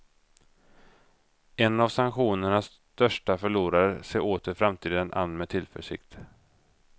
En av sanktionernas största förlorare ser åter framtiden an med tillförsikt.